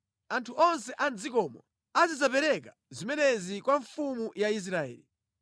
Anthu onse a mʼdzikomo azidzapereka zimenezi kwa mfumu ya Israeli.